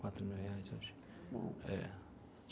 Quatro mil reais hoje. Bom. É.